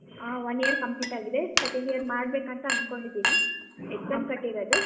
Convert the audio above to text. ಹಾ one year complete ಆಗಿದೆ second year ಮಾಡ್ಬೇಕು ಅಂತ ಅನ್ಕೊಂಡಿದ್ದೀನಿ exam ಕಟ್ಟಿರದು.